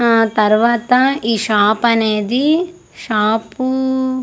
అ తరువాత ఈ శాపనేది షాపు .